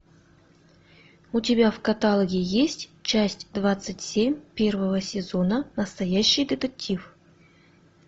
у тебя в каталоге есть часть двадцать семь первого сезона настоящий детектив